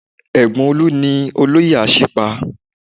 Ẹ̀gbọ́n Olu ni olóyè Asipa